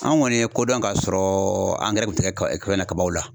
An kɔni ye kodɔn ka sɔrɔ angɛrɛ bɛ tigɛ ka na kabaw la.